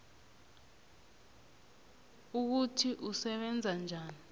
ukuthi usebenza njani